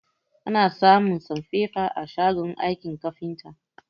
Ana samun sanfefa a shagon aikin kafinta